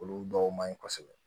Olu dɔw man ɲi kosɛbɛ